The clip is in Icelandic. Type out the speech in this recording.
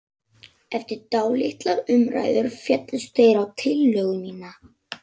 Eftir dálitlar umræður féllust þeir á tillögu mína.